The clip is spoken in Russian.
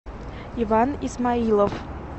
иван исмаилов